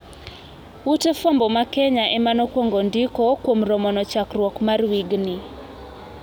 Ute fwambo ma Kenya emanokwongo ndikoo kuom romono chakruok mar wigni.